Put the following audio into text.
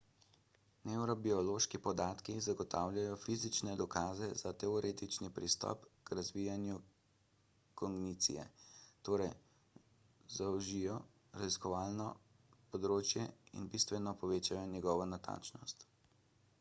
nevrobiološki podatki zagotavljajo fizične dokaze za teoretični pristop k raziskovanju kognicije torej zožijo raziskovalno področje in bistveno povečajo njegovo natančnost